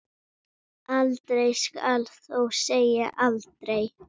Aldrei skal þó segja aldrei.